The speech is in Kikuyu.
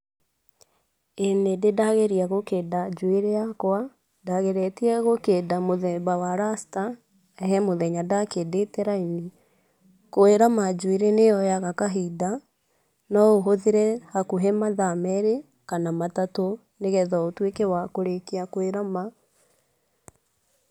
ĩĩ nĩ ndĩ ndageria gũkĩnda njũĩrĩ yakwa, ndageretie gũkĩnda mũthemba wa racita, he muthenya ndakĩndĩte raini. Kwĩrama njũĩrĩ nĩyoyaga kahinda, nũũhũthire hakũhĩ mathaa merĩ kana matatũ, nĩgetha ũtũeke wa kũrĩkĩa kũĩrama.